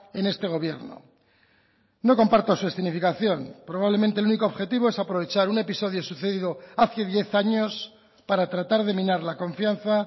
en este gobierno no comparto su escenificación probablemente el único objetivo es aprovechar un episodio sucedido hace diez años para tratar de minar la confianza